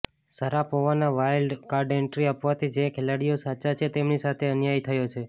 શારાપોવાને wild card entry આપવાથી જે ખેલાડીઓ સાચા છે તેમની સાથે અન્યાય થયો છે